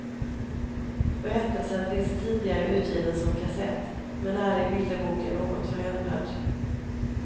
Berättelsen finns tidigare utgiven som kassett men är i bilderboken något förändrad.